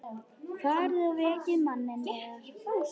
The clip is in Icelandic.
Farið og vekið manninn yðar.